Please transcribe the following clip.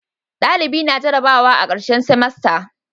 dalibi na jarabawa a karshen simasta